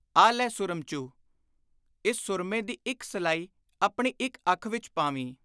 ਆਹ ਲੈ ਸੁਰਮਚੂ, ਇਸ ਸੁਰਮੇ ਦੀ ਇਕ ਸਲਾਈ ਆਪਣੀ ਇਕ ਅੱਖ ਵਿਚ ਪਾਵੀਂ।